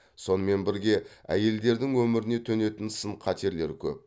сонымен бірге әйелдердің өміріне төнетін сын қатерлер көп